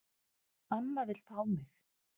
Amma vill fá mig.